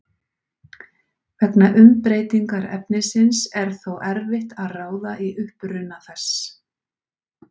Vegna umbreytingar efnisins er þó erfitt að ráða í uppruna þess.